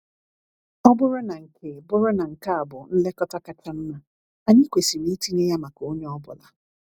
Ọ bụrụ na nke bụrụ na nke a bụ nlekọta kacha mma, anyị kwesịrị itinye ya maka onye ọ bụla.